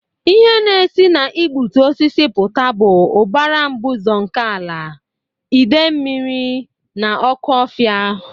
Ihe na-esi na igbutu osisi pụta bụ ụbara mbuze nke ala, idei mmiri, na ọkụ ofia.